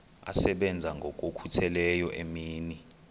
asebenza ngokokhutheleyo imini